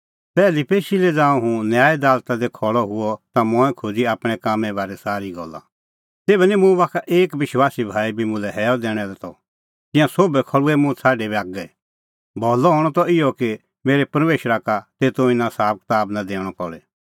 पैहली पेशी लै ज़ांऊं हुंह न्याय दालता दी खल़अ हुअ ता मंऐं खोज़ी आपणैं कामें बारै सारी गल्ला तेभै निं मुंह बाखा एक विश्वासी भाई बी मुल्है हैअ दैणैं आल़अ त तिंयां सोभ खल़्हुऐ मुंह छ़ाडी बागै भलअ हणअ त इहअ कि मेरै परमेशरा का तेतो इना साबकताब नां दैणअ पल़े